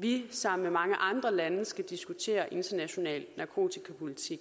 vi sammen med mange andre lande skal diskutere international narkotikapolitik